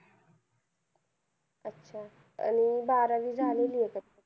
अच्छा! आणि बारावी झालेलीये का त्याची?